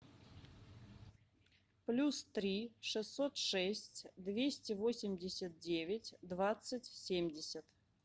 плюс три шестьсот шесть двести восемьдесят девять двадцать семьдесят